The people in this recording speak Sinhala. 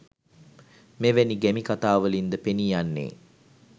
මෙවැනි ගැමිකථාවලින්ද පෙනීයන්නේ